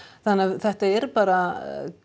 þetta er bara